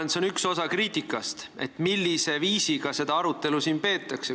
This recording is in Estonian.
Ma arvan, et üks osa kriitikast ongi see, millisel viisil seda arutelu siin peetakse.